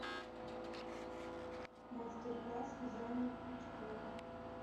мастер класс вязания крючком